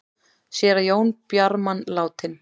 Séra Jón Bjarman látinn